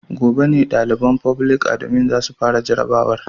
Gobe ne daliban foblik adimin za su fara jarrabawar.